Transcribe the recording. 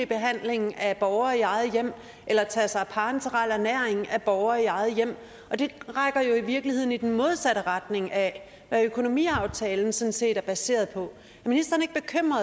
behandling af borgere i eget hjem eller at tage sig af parenteral ernæring af borgere i eget hjem og det trækker jo i virkeligheden i den modsatte retning af det økonomiaftalen sådan set er baseret på